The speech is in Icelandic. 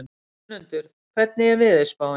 Önundur, hvernig er veðurspáin?